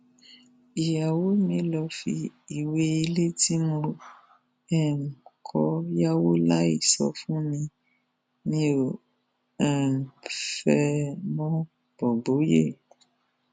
ìyàwó mi lọọ fi ìwé ilé tí mo um kọ yàwó láì sọ fún mi mi ò um fẹ ẹ mọbọbọyé